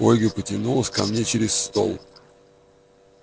ольга потянулась ко мне через стол